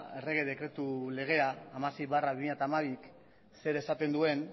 errege dekretu legea hamasei barra bi mila hamabik zer esaten duen